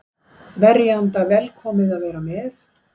Verjanda velkomið að vera með